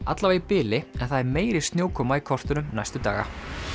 allavega í bili en það er meiri snjókoma í kortunum næstu daga